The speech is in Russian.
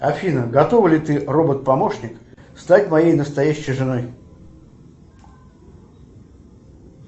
афина готова ли ты робот помощник стать моей настоящей женой